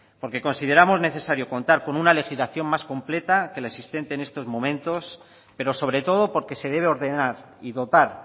porque consideramos necesario contar con una legislación más completa que la existente en estos momentos pero sobre todo porque se debe ordenar y dotar